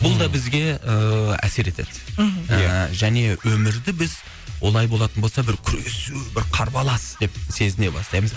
бұл да бізге ы әсер етеді мхм ыыы және өмірді біз олай болатын болса бір күресу бір қарбалас деп сезіне бастаймыз